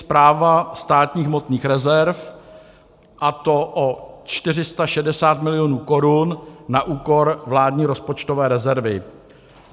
Správa státních hmotných rezerv, a to o 460 milionů korun na úkor vládní rozpočtové rezervy.